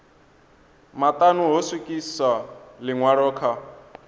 maṱanu ho swikiswa ḽiṅwalo kha